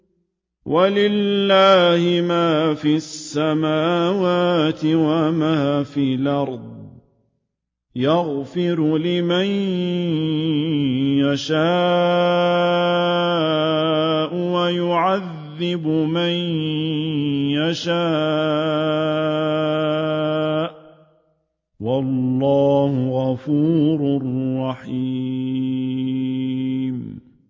وَلِلَّهِ مَا فِي السَّمَاوَاتِ وَمَا فِي الْأَرْضِ ۚ يَغْفِرُ لِمَن يَشَاءُ وَيُعَذِّبُ مَن يَشَاءُ ۚ وَاللَّهُ غَفُورٌ رَّحِيمٌ